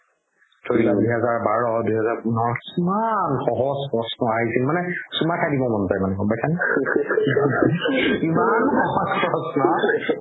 ধৰি লোৱা দুহাজাৰ বাৰ, দুহাজাৰ পোন্ধৰ কিমান সহজ প্ৰশ্ন আহিছিল মানে চুমা খাই দিব মন যাই গ'ম পাইচা নে ইমান সহজ প্ৰশ্ন